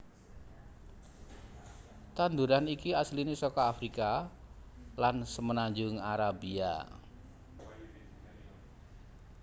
Tandhuran iki asline saka Afrika lan Semenanjung Arabia